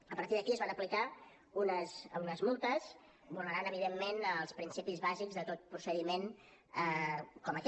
a partir d’aquí es van aplicar unes multes vulnerant evidentment els principis bàsics de tot procediment com aquest